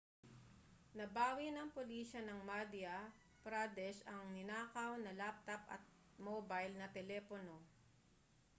nabawi ng pulisiya ng madhya pradesh ang ninakaw na laptop at mobile na telepono